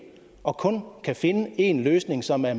og kun kan finde en løsning som er